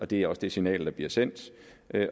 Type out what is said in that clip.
det er også det signal der bliver sendt